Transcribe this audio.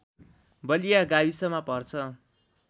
बलिया गाविसमा पर्छ